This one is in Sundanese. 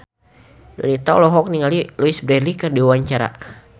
Donita olohok ningali Louise Brealey keur diwawancara